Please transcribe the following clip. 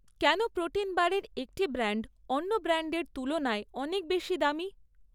কেন প্রোটিন বারের একটি ব্র্যান্ড অন্য ব্র্যান্ডের তুলনায় অনেক বেশি দামি?